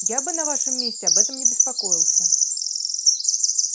я бы на вашем месте об этом не беспокоился